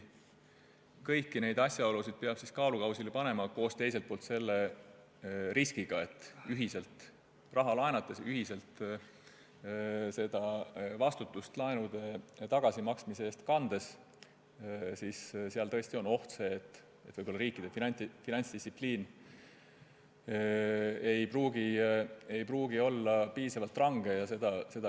Kõik need asjaolud peab kaalukausile panema ja teiselt poolt ka selle riski, et ühiselt raha laenates, ühiselt laenude tagasimaksmise eest vastutust kandes on see oht, et riikide finantsdistsipliin ei pruugi olla piisavalt range.